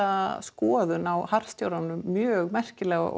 skoðun á harðstjóranum mjög merkilega og